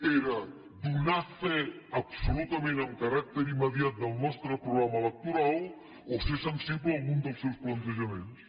era donar fe absolutament amb caràcter immediat del nostre programa electoral o ser sensible a alguns dels seus plantejaments